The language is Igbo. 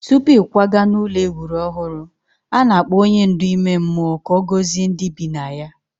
Tupu ịkwaga n'ụlọ e wuru ọhụrụ, a na-akpọ onye ndu ime mmụọ ka ọ gọzie ndị bi na ya.